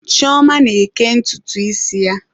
Chioma na-eke ntutu isi ya.